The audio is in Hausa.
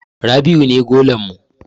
Rabi'u ne golan mu.